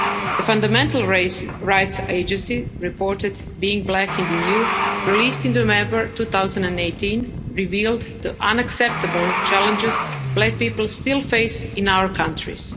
The Fundamental Rights Agency report, Being Black in the EU', released in November 2018, revealed the unacceptable challenges black people still face in our countries.